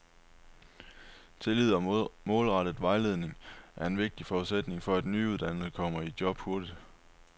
Tidlig og målrettet vejledning er en vigtig forudsætning for, at de nyuddannede kommer i job hurtigt.